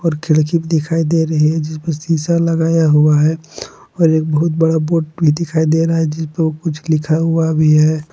खिड़की दिखाई दे रही है जिस पर शीशा लगाया हुआ है और एक बहुत बड़ा बोर्ड भी दिखाई दे रहा है जिसपे कुछ लिखा हुआ भी है।